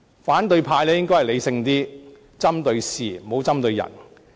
反對派應該理性一點，針對事而不針對人。